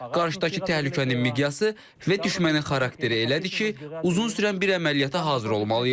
Qarşıdakı təhlükənin miqyası və düşmənin xarakteri elədir ki, uzun sürən bir əməliyyata hazır olmalıyıq.